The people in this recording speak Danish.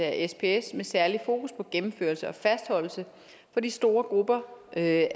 af sps med særlig fokus på gennemførelse og fastholdelse for de store grupper af